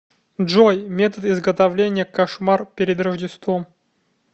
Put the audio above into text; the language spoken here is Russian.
джой метод изготовления кошмар перед рождеством